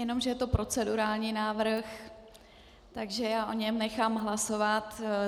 Jenomže je to procedurální návrh, takže já o něm nechám hlasovat.